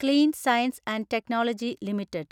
clean science and technology limited